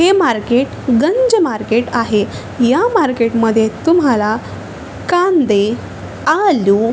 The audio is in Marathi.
हे मार्केट गंज मार्केट आहे या मार्केट मध्ये तुम्हाला कांदे आलू--